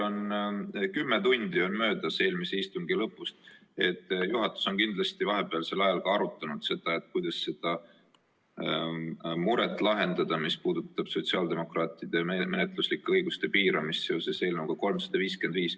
Kuna kümme tundi on möödas eelmise istungi lõpust, siis juhatus on kindlasti vahepealsel ajal ka arutanud, kuidas lahendada seda muret, mis puudutab sotsiaaldemokraatide menetluslike õiguste piiramist seoses eelnõuga 355.